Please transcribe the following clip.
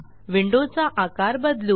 विंडोचा आकार बदलू